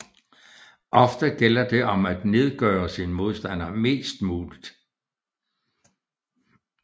Ofte gælder det om at nedgøre sin modstander mest muligt